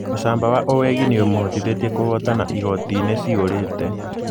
Ũcamba wa owegi nĩ ũmũhotithwtie kũhotana igoti-inĩ cihũrĩte......